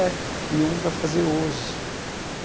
É, e um para fazer hoje.